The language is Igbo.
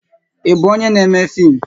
Ị bụ onyé n'émé fim